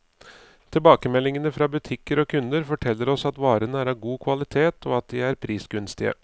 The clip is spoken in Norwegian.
Tilbakemeldingene fra butikker og kunder, forteller oss at varene er av god kvalitet, og at de er prisgunstige.